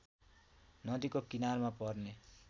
नदीको किनारमा पर्ने